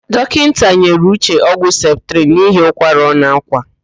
Dọkịnta nyere Uche ọgwụ septrịn n'ihi ụkwara ọ na-ákwà.